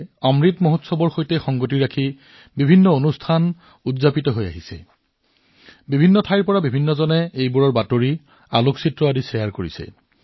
অমৃত উৎসৱৰ কাৰ্যসূচীবোৰ দেশত অব্যাহত আছে বিভিন্ন স্থানৰ পৰা এই কাৰ্যসূচীৰ ছবি তথ্য মানুহে বিনিময় কৰি আছে